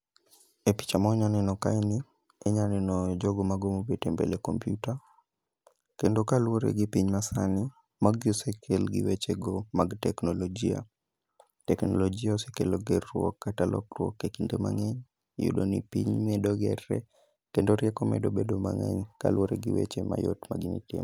E picha ma wanyaneno kaeni, inya neno jogo mago mobet e mbele kompyuta. Kendo kaluwore gi piny ma sani, magi osekel gi weche go mag teknolojia. Teknolojia osekelo gerruok kata lokruok e kinde mang'eny. Iyudo ni piny medo gerre, kendo rieko medo bedo mang'eny kaluwore gi weche mayot ma gini tim.